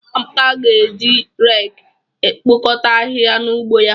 Amaka ga-eji reki ekpokọta ahịhịa n'ugbo ya.